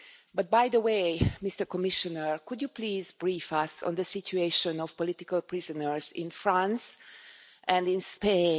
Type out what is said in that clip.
But, Commissioner, could you please brief us on the situation of political prisoners in France and in Spain?